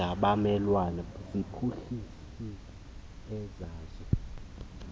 angabamelwane ziphuhlise ezazo